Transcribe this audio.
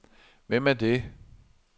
Hvem er det